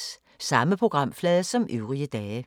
Samme programflade som øvrige dage